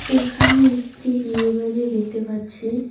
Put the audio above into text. এখানে একটি বিয়েবাড়ি দেখতে পাচ্ছি।